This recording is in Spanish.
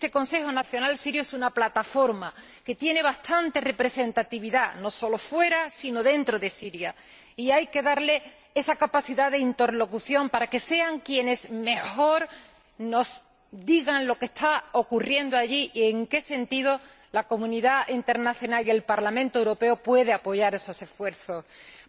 Este Consejo Nacional Sirio es una plataforma que tiene bastante representatividad, no solo fuera sino también dentro de Siria, y hay que darle esa capacidad de interlocución para que sea quien mejor nos diga lo que está ocurriendo allí y en qué sentido la comunidad internacional y el Parlamento Europeo pueden apoyar esos esfuerzos, porque estos esfuerzos tienen...